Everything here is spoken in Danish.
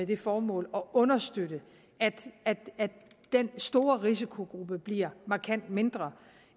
det formål at understøtte at den store risikogruppe bliver markant mindre